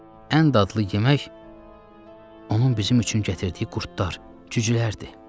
Ən dadlı yemək onun bizim üçün gətirdiyi qurdlar, cücülərdir.